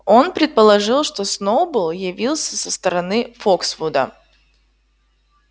он предположил что сноуболл явился со стороны фоксвуда